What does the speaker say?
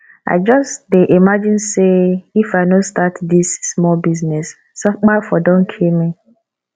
i just dey imagine say say if i no start dis small business sapa for don kill me